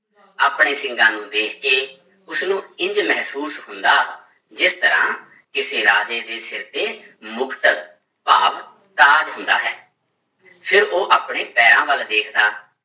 ਆਪਣੇ ਸਿੰਗਾਂ ਨੂੰ ਦੇਖ ਕੇ ਉਸਨੂੰ ਇੰਞ ਮਹਿਸੂਸ ਹੁੰਦਾ, ਜਿਸ ਤਰ੍ਹਾਂ ਕਿਸੇ ਰਾਜੇ ਦੇ ਸਿਰ ਤੇ ਮੁਕਟ ਭਾਵ ਤਾਜ ਹੁੰਦਾ ਹੈ, ਫਿਰ ਉਹ ਆਪਣੇ ਪੈਰਾਂ ਵੱਲ ਵੇਖਦਾ